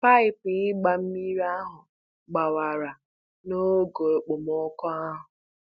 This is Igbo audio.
Paịpụ ịgba mmiri ahụ gbawara noge okpomọkụ ahụ.